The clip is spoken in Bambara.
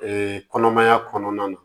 kɔnɔmaya kɔnɔna na